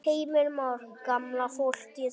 Heimir Már: Gamla fólkið?